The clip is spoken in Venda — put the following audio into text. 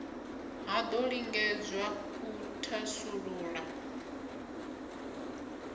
ha do lingedzwa u thasulula